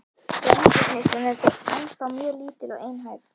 Grænmetisneyslan er þó ennþá mjög lítil og einhæf.